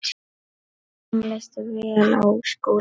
Honum leist vel á Skúla.